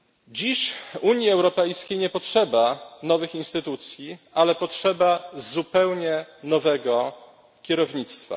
Dziś w Unii Europejskiej nie potrzeba nowych instytucji, ale potrzeba zupełnie nowego kierownictwa.